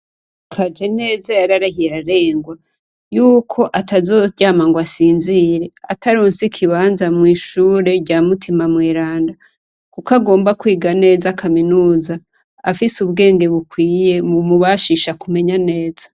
Kajeneza yararahiye ararengwa yuko atazoryama ngo asinzire ataronse ikibanza mw'ishure rya Mutima Mweranda. Kuko agomba kwiga neza Kaminuza ; afise ubwenge bukwiye bumubashisha kumenya neza.